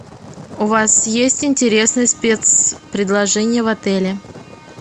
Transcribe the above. у вас есть интересные спецпредложения в отеле